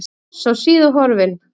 Foss á Síðu horfinn